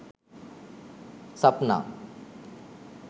sapna